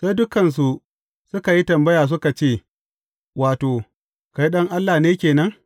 Sai dukansu suka yi tambaya suka ce, Wato, kai Ɗan Allah ke nan?